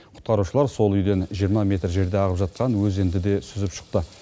құтқарушылар сол үйден жиырма метр жерде ағып жатқан өзенді де сүзіп шықты